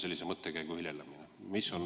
Sellise mõttekäigu viljelemisest.